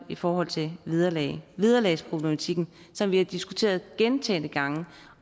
i forhold til vederlag vederlagsproblematikken som vi har diskuteret gentagne gange